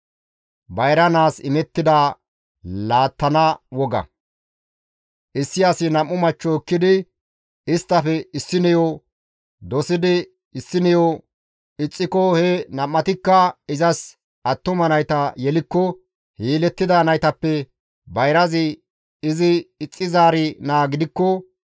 Issi asi nam7u machcho ekkidi isttafe issineyo dosidi issineyo ixxiko he nam7atikka izas attuma nayta yelikko he yelettida naytappe bayrazi izi ixxizaari naa gidikko,